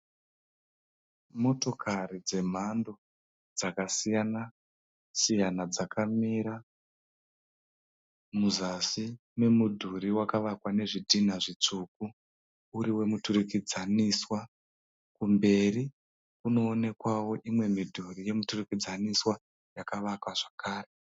Motokari dzemhando dzaksiyana siyana dzakamira muzasi memudhuri wakavakwa nezvidhinha zvitsvuku uri wemuturikidzaniswa, kumberi kunoonekawo mimwe midhuri yemiturikidzaniswa yakavakwa zvakare.